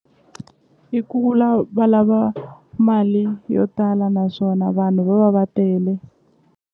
I kula va lava mali yo tala naswona vanhu va va va tele.